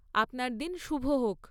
আপনার দিন শুভ হোক।